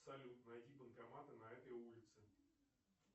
салют найди банкоматы на этой улице